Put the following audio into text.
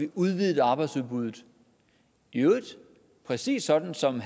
udvidet arbejdsudbuddet i øvrigt præcis sådan som